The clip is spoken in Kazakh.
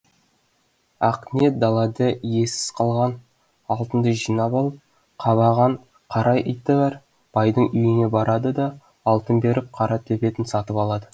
ақниет далада иесіз қалған алтынды жинап алып қабаған қара иті бар байдың үйіне барады да алтын беріп қара төбетін сатып алады